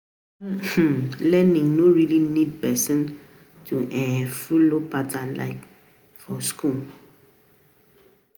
Some part of school dey compulsory like primary and secondary school